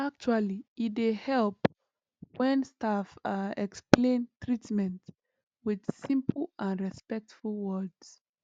actually e dey help when staff ah explain treatment with simple and respectful words